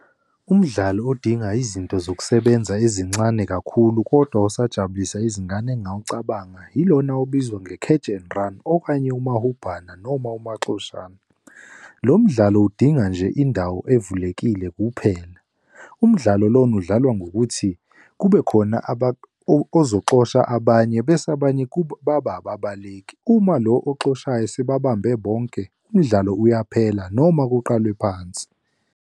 Umdlalo odinga izinto zokusebenza ezincane kakhulu kodwa usajabulisa izingane engingawucabanga, yilona owawubizwa nge-catch and run, okanye umahubhana noma umaxoshana. Lo mdlalo udinga nje indawo evulekile kuphela. Umdlalo lona udlalwa ngokuthi kube khona ozokuxosha abanye bese abanye babe ababaleki. Uma lo okuxoshayo sebabambe bonke, umdlalo uyaphela noma kuqalwe phansi.